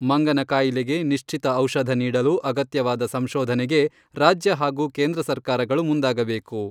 ಮಂಗನ ಕಾಯಿಲೆಗೆ ನಿಶ್ಚಿತ ಔಷಧ ನೀಡಲು ಅಗತ್ಯವಾದ ಸಂಶೋಧನೆಗೆ, ರಾಜ್ಯ ಹಾಗೂ ಕೇಂದ್ರ ಸರ್ಕಾರಗಳು ಮುಂದಾಗಬೇಕು.